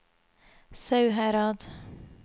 Sauherad